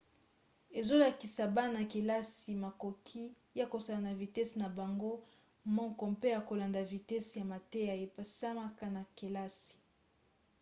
ezolakisa bana-kelasi makoki ya kosala na vitese na bango moko mpe ya kolanda vitese ya mateya epesamaka na kelasi